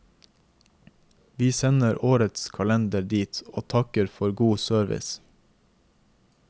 Vi sender årets kalender dit, og takker for god service.